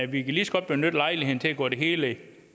vi kan lige så godt benytte lejligheden til at gå det hele